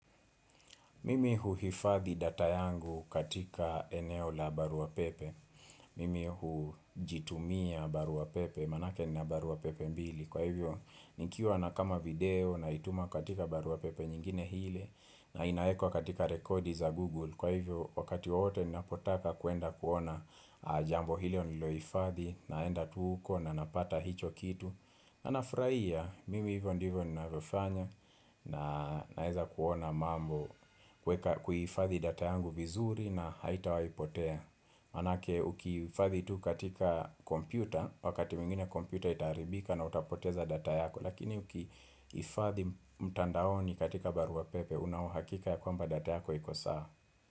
Mimi huhifadhi data yangu katika eneo la baruapepe Mimi hujitumia baruapepe manake nina baruapepe mbili. Kwa hivyo nikiwa nakama video na ituma katika baruapepe nyingine ile na inaekwa katika rekodi za google. Kwa hivyo wakati wowote ninapo taka kuenda kuona jambo hilo nililoifadhi naenda tu huko na napata hicho kitu na nafrahia mimi hivyo ndivyo ninavyofanya na naeza kuona mambo kuhifadhi data yangu vizuri na haita waipotea Manake ukiifadhi tu katika kompyuta, wakati mwingine kompyuta itaharibika na utapoteza data yako. Lakini ukiifadhi mtandaoni katika barua pepe unaohakika ya kwamba data yako iko sawa.